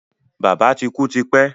Bàbá ti kú ti pẹ́